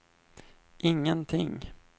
ingenting